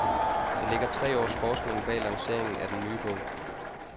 Der ligger tre års forskning bag lanceringen af den nye bog.